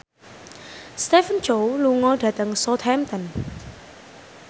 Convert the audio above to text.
Stephen Chow lunga dhateng Southampton